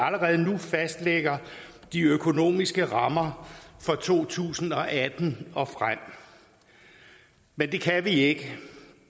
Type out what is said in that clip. allerede nu fastlægger de økonomiske rammer for to tusind og atten og frem men det kan vi ikke